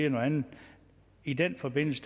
at man i den forbindelse